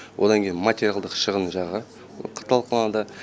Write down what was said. одан кейін материалдық шығын жағы талқыланады